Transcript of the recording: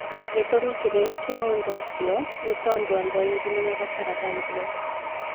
Gĩtũmi kĩnene kĩa ũndũ ũcio nĩ tondũ andũ aingĩ nĩ mabataraga irio.